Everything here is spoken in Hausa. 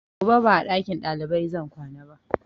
Gobe ba a ɗakin ɗalibai zan kwana ba